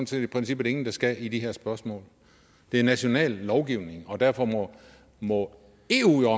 set i princippet ingen der skal i de her spørgsmål det er national lovgivning og derfor må må eu jo